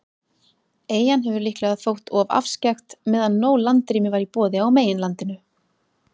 Eyjan hefur líklega þótt of afskekkt, meðan nóg landrými var í boði á meginlandinu.